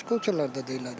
Başqa ölkələrdə də elədir.